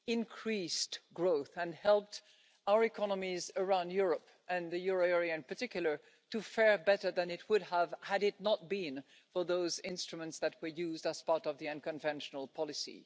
increased growth and helped our economies around Europe and the euro area in particular to fare better than it would have had it not been for those instruments that were used as part of the unconventional policy.